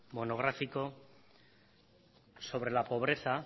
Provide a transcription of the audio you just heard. monográfico sobre la pobreza